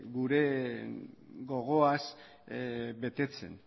gure gogoaz betetzen